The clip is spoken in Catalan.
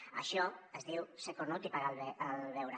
d’això se’n diu ser cornut i pagar el beure